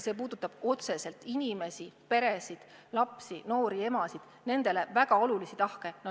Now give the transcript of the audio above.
See puudutab otseselt inimesi, peresid, lapsi, noori emasid – nendele väga olulisi tahke.